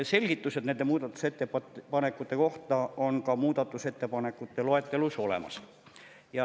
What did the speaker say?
Selgitused nende muudatusettepanekute kohta on ka muudatusettepanekute loetelus olemas.